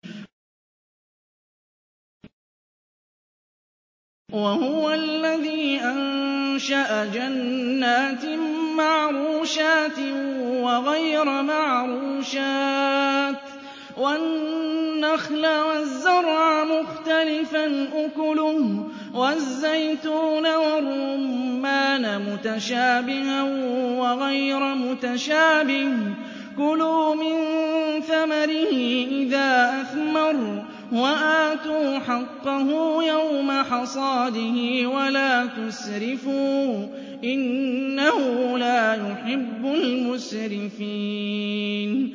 ۞ وَهُوَ الَّذِي أَنشَأَ جَنَّاتٍ مَّعْرُوشَاتٍ وَغَيْرَ مَعْرُوشَاتٍ وَالنَّخْلَ وَالزَّرْعَ مُخْتَلِفًا أُكُلُهُ وَالزَّيْتُونَ وَالرُّمَّانَ مُتَشَابِهًا وَغَيْرَ مُتَشَابِهٍ ۚ كُلُوا مِن ثَمَرِهِ إِذَا أَثْمَرَ وَآتُوا حَقَّهُ يَوْمَ حَصَادِهِ ۖ وَلَا تُسْرِفُوا ۚ إِنَّهُ لَا يُحِبُّ الْمُسْرِفِينَ